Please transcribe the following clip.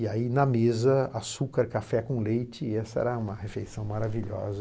E aí, na mesa, açúcar, café com leite, e essa era uma refeição maravilhosa.